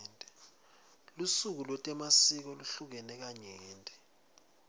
lusuku letemasiko luhlukene kanyenti